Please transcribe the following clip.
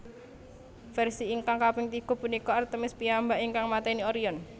Versi ingkang kaping tiga punika Artemis piyambak ingkang mateni Orion